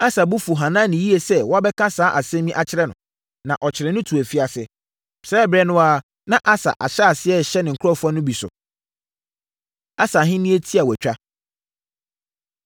Asa bo fuu Hanani yie sɛ wabɛka saa asɛm yi akyerɛ no, na ɔkyeree no too afiase. Saa ɛberɛ no ara na Asa ahyɛ aseɛ rehyɛ ne nkurɔfoɔ no bi so. Asa Ahennie Tiawatwa